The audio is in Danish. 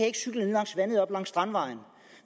ikke cykle langs vandet op langs strandvejen